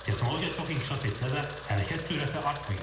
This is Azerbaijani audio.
Texnologiya çox inkişaf etsə də, hərəkət sürəti artmayıb.